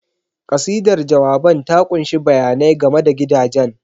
Kasidar jawaban ta ƙunshi bayanai game da gidajen.